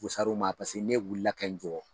Pusar'u ma paseke ne wulila kɛ n jɔ.